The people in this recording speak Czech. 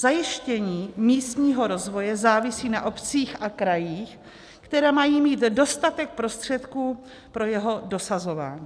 Zajištění místního rozvoje závisí na obcích a krajích, které mají mít dostatek prostředků pro jeho dosahování.